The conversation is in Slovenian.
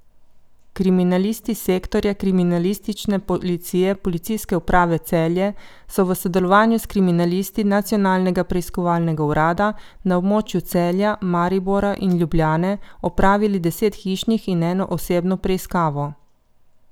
Kriminalisti Sektorja kriminalistične policije Policijske uprave Celje so v sodelovanju s kriminalisti Nacionalnega preiskovalnega urada, na območju Celja, Maribora in Ljubljane opravili deset hišnih in eno osebno preiskavo.